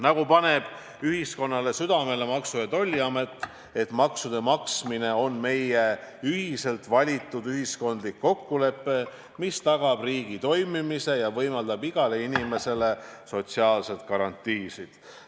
Nagu Maksu- ja Tolliamet ühiskonnale südamele paneb: maksude maksmine on meie ühiselt valitud ühiskondlik kokkulepe, mis tagab riigi toimimise ja võimaldab igale inimesele sotsiaalseid garantiisid.